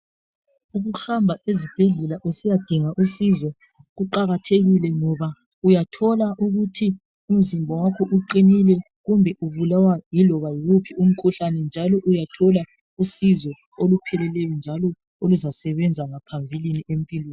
Ukuhamba ezibhedlela usiyadinga usizo kuqakathekile .Ngoba uyathola ukuthi umzimba wakho uqinile kumbe ubulawa yiloba yiwuphi umkhuhlane . Njalo uyathola usizo olupheleleyo .Njalo oluzasebenza ngaphambilini empilweni.